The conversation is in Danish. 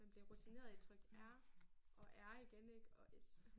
Man bliver rutineret i at trykke R og R igen ik og S